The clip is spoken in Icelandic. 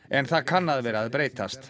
en það kann að vera að breytast